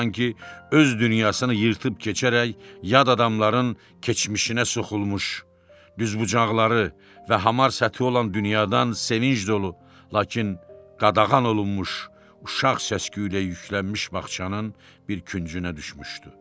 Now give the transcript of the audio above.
Sanki öz dünyasını yırtıb keçərək, yad adamların keçmişinə soxulmuş, düzbucaqlıları və hamar səthi olan dünyadan sevinc dolu, lakin qadağan olunmuş, uşaq səs-küylə yüklənmiş bağçanın bir küncünə düşmüşdü.